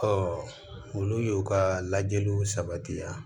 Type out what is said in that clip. Ɔ olu y'u ka lajɛliw sabati